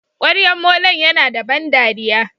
kwaryan molon Yana da ban dariya.